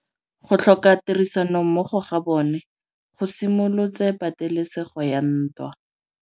Go tlhoka tirsanommogo ga bone go simolotse patêlêsêgô ya ntwa.